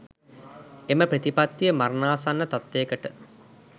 එම ප්‍රතිපත්තිය මරණාසන්න තත්ත්වයකට